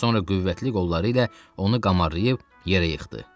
Sonra qüvvətli qolları ilə onu qamarlayıb yerə yıxdı.